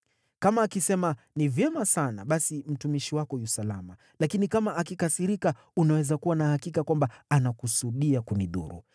Kama akisema, ‘Ni vyema sana,’ basi mtumishi wako yu salama. Lakini kama akikasirika, unaweza kuwa na hakika kwamba anakusudia kunidhuru.